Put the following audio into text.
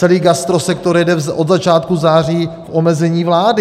Celý gastrosektor jede od začátku září v omezení vlády.